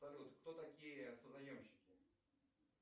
салют кто такие созаемщики